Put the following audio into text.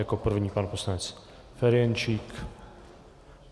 Jako první pan poslanec Ferjenčík.